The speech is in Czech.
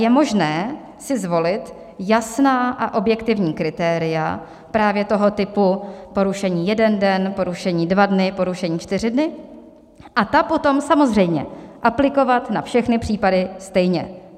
Je možné si zvolit jasná a objektivní kritéria právě toho typu porušení - jeden den, porušení dva dny, porušení čtyři dny - a ta potom samozřejmě aplikovat na všechny případy stejně.